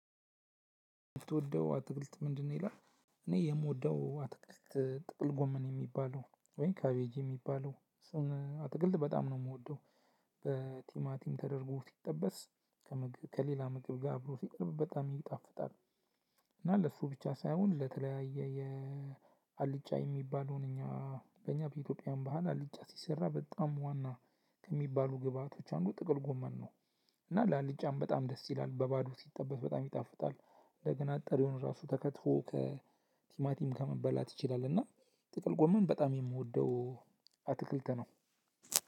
የምትወደው አትክልት ምንድነው? ይላል እኔ የምወደው አትክልት ጥቅል ጎመን የሚባለውን ወይም ካቬጂ የሚባለው አትክልት በጣም ነው የምወደው። በቲማቲም ተደርጎ ሲጠበስ ከምግብ ከሌላ ምግብ ጋር አብሮ ሲቀርብ በጣም ይጣፍጣል። እና ለእሱ ብቻ ሳይሆን ለተለያየ የአልጫ የሚባለውን እኛ በእኛ በኢትዮጵያን ባህል አልጫ ሲሰራ በጣም ዋና ከሚባሉ ግብአቶች አንዱ ጥቅል ጎመን ነው። እና ለአልጫም በጣም ደስ ይላል በባዶ ሲጠበስ በጣም ይጣፍጣል። እንደገና ጠሪውን ራሱ ተከትፎ ከቲማቲም ከመበላት ይችላል። እና ጥቅል ጎመን በጣም የምወደው አትክልት ነው።